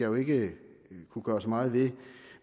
jo ikke kunne gøre så meget ved